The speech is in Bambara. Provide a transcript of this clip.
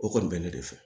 O kɔni bɛ ne de fɛ